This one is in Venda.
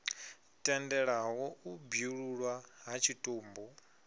tendelaho u bwululwa ha tshitumbu